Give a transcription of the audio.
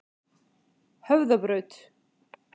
Höfðabraut